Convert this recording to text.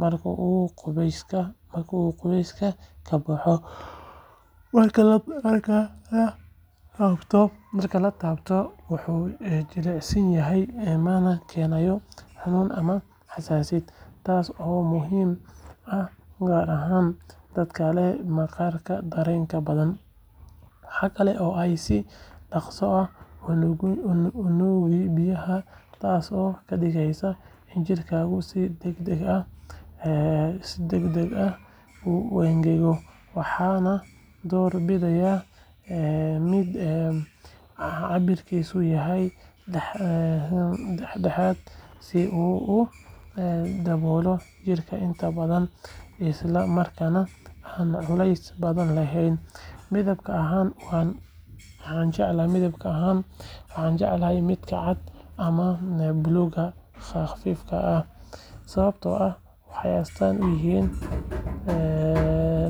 marka uu qubayska ka soo baxo. Marka la taabto, wuu jilicsan yahay, mana keenayo cuncun ama xasaasiyad, taas oo muhiim ah gaar ahaan dadka leh maqaar dareen badan. Waxa kale oo ay si dhaqso ah u nuugaan biyaha, taas oo ka dhigaysa in jirkaagu si degdeg ah u engego. Waxaan door bidayaa mid cabbirkiisu yahay dhexdhexaad, si uu u daboolo jirka intiisa badan isla markaana aan culays badan yeelan. Midab ahaan waxaan jeclahay midabka cad ama buluug khafiif ah sababtoo ah waxay astaan u yihiin nadaafad iyo nadiifnimo.